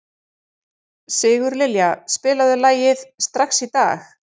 Sigurlilja, spilaðu lagið „Strax í dag“.